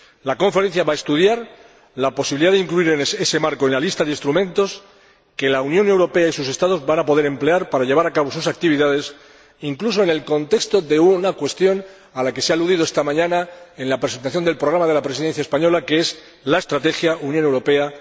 La conferencia va a estudiar la posibilidad de incluir ese marco en la lista de instrumentos que la Unión Europea y sus Estados van a poder emplear para llevar a cabo sus actividades, incluso en el contexto de una cuestión a la que se ha aludido esta mañana en la presentación del programa de la Presidencia española, que es la Estrategia Unión Europea